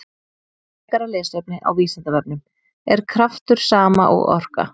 Frekara lesefni á Vísindavefnum: Er kraftur sama og orka?